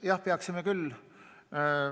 Jah, peaksime küll.